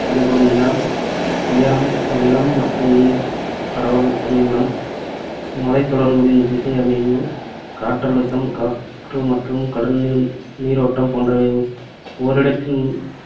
ஒளிப்படும் நேரம், உயரம், நிலம் மற்றும் நீர் பரவல், அமைவிடம், மலைத்தொடர்களின் திசை அமைவு, காற்றழுத்தம், காற்று மற்றும் கடல் நீ~ நீரோட்டம் போன்றவை ஓரிடத்தின்